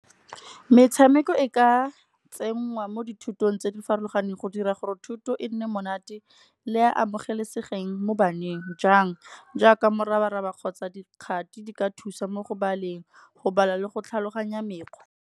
Metshameko e ka tsenngwa mo dithutong tse di farologaneng go dira gore thuto e nne monate. Le e amogelesegileng mo baneng, jang jaaka morabaraba kgotsa dikgathi di ka thusa mo go baleng, go bala le go tlhaloganya mekgwa.